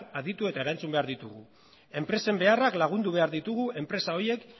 aditu eta erantzun behar ditugu enpresen beharrak lagundu behar ditugu enpresa horiek